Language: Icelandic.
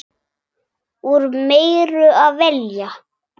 Úr meiru að velja!